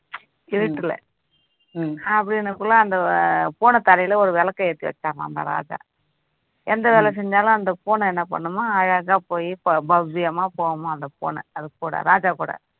இருட்டுல அந்த பூனை தலையில ஒரு விளக்கை ஏத்தி வச்சானாம் அந்த ராஜா எந்த வேலை செஞ்சாலும் அந்த பூனை என்ன பண்ணுமா அழகா போய் பவ்வியமா போகுமா அந்த பூனை அது கூட ராஜா கூட